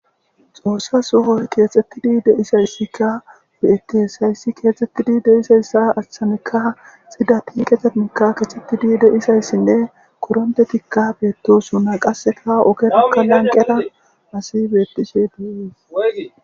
Xoossa suho keexxettidi deisayssikka woyettisayssi keexxettidi deisayssa achanekka sida tiiqetenikka keexxettidi deisayssinne koronte tikka beettosuna qasseta ogerakka lanqera asi beettishe duees